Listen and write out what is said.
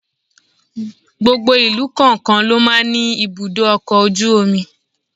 Gbogbo ìlú kọ̀ọ̀kan ló máa ń ní ibùdó ọkọ̀ ojú omi.